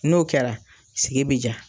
N'o kɛra sigi bɛ diya.